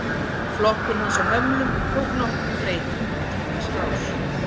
Flokkun hans á hömlum tók nokkrum breytingum í tímans rás.